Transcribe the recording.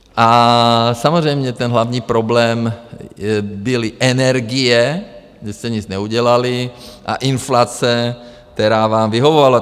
A samozřejmě ten hlavní problém byly energie, že jste nic neudělali, a inflace, která vám vyhovovala.